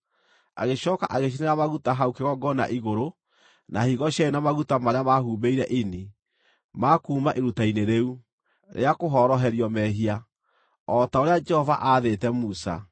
Agĩcooka agĩcinĩra maguta hau kĩgongona igũrũ, na higo cierĩ na maguta marĩa mahumbĩire ini, ma kuuma iruta-inĩ rĩu rĩa kũhoroherio mehia, o ta ũrĩa Jehova aathĩte Musa;